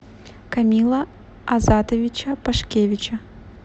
комила азатовича пашкевича